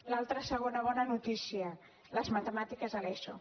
l’altra segona bona notícia les matemàtiques a l’eso